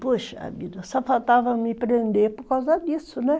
Puxa, a vida só faltava me prender por causa disso, né?